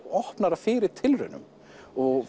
opnara fyrir tilraunum og